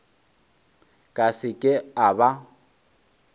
ka se ke a ba